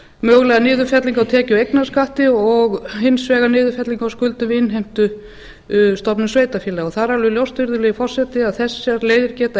mögulega niðurfellingu á tekju og eignarskatti og hins vegar niðurfellingu á skuldum við innheimtustofnun sveitarfélaga það er alveg ljóst virðulegi forseti að þessar leiðir geta